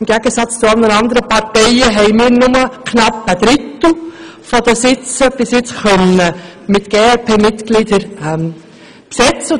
Im Gegensatz zu anderen Parteien haben wir nur einen knappen Drittel der Sitze mit glp-Mitgliedern besetzen können.